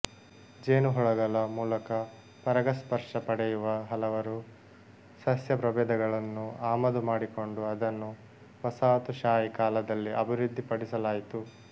ಜೇನುಹುಳಗಳ ಮೂಲಕ ಪರಾಗಸ್ಪರ್ಶ ಪಡೆಯುವ ಹಲವರು ಸಸ್ಯ ಪ್ರಭೇದಗಳನ್ನು ಆಮದು ಮಾಡಿಕೊಂಡು ಅದನ್ನು ವಸಾಹತು ಶಾಹಿ ಕಾಲದಲ್ಲಿ ಅಭಿವೃದ್ಧಿಪಡಿಸಲಾಯಿತು